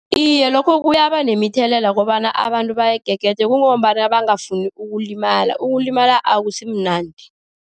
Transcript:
Iye, lokho kuyaba nemithelela kobana abantu bayigegede, kungombana bangafuni ukulimala. Ukulimala akusi mnandi.